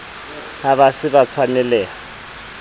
ha ba se ba tshwanelaha